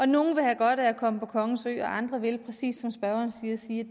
nogle vil have godt af at komme på kongens ø og andre vil præcis som spørgeren siger sige